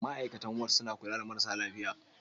Ma'aikatan Ward suna kula da marasa lafiya.